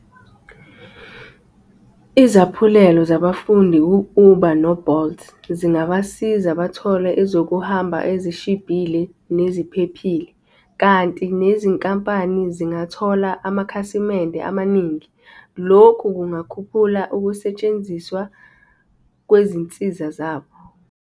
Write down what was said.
Izaphulelo zabafundi u-Uber no-Bolt zingabasiza bathole ezokuhamba ezishibhile neziphephile, kanti nezinkampani zingathola amakhasimende amaningi. Lokhu kungakhuphula ukusetshenziswa kwezinsiza zabo.